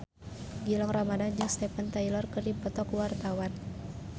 Gilang Ramadan jeung Steven Tyler keur dipoto ku wartawan